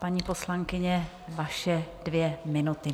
Paní poslankyně, vaše dvě minuty.